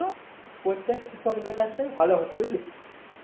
প্রত্যেক কৃষকদের কাছে ভালো হতো বুঝলি